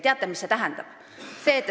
Teate, mida see tähendab?